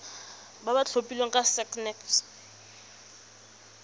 ba ba tlhophilweng ke sacnasp